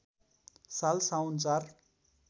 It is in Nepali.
साल साउन ४